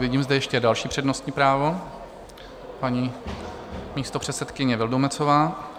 Vidím zde ještě další přednostní právo, paní místopředsedkyně Vildumetzová.